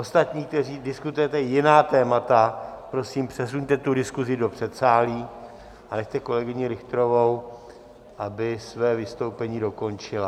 Ostatní, kteří diskutujete jiná témata, prosím, přesuňte tu diskuzi do předsálí a nechte kolegyni Richterovou, aby své vystoupení dokončila.